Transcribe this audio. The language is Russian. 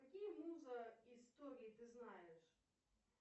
какие муза истории ты знаешь